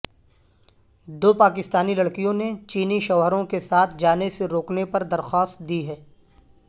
دو پاکستانی لڑکیوں نے چینی شوہروں کے ساتھ جانے سے روکنے پر درخواست دی ہے